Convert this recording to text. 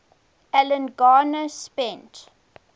alan garner spent